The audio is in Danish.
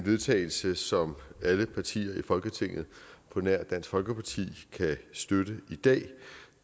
vedtagelse som alle partier i folketinget på nær dansk folkeparti kan støtte i dag